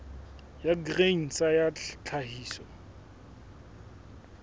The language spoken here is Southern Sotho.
ya grain sa ya tlhahiso